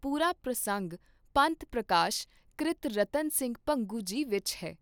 ਪੂਰਾ ਪ੍ਰਸੰਗ ਪੰਥ ਪ੍ਰਕਾਸ਼ ਕ੍ਰਿਤ ਰਤਨ ਸਿੰਘ ਭੰਗੂ ਜੀ ਵਿਚ ਹੈ।